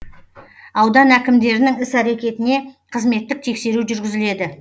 аудан әкімдерінің іс әрекетіне қызметтік тексеру жүргізіледі